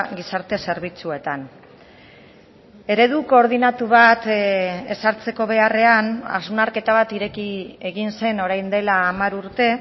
gizarte zerbitzuetan eredu koordinatu bat ezartzeko beharrean hausnarketa bat ireki egin zen orain dela hamar urte